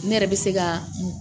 Ne yɛrɛ bɛ se ka